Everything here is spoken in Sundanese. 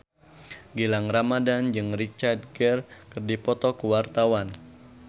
Gilang Ramadan jeung Richard Gere keur dipoto ku wartawan